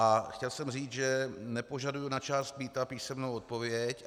A chtěl jsem říct, že nepožaduji na část mýta písemnou odpověď.